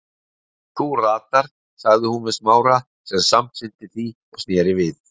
Þú ratar- sagði hún við Smára sem samsinnti því og sneri við.